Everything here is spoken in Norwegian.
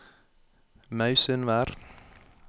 Mausundvær